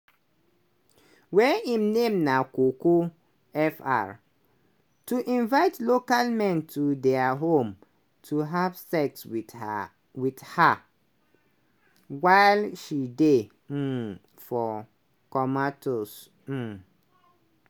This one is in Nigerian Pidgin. wey im name name na coco.fr to invite local men to dia home to have sex wit her with her, while she dey um for Komatose. um